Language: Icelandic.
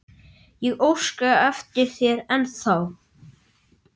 Ég óska eftir þér ennþá.